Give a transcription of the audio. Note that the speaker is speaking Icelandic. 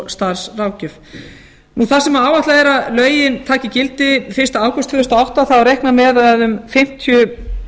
starfsráðgjöf þar sem áætlað er að lögin taki gildi fyrsta ágúst tvö þúsund og átta þá er reiknað með að um fimmtíu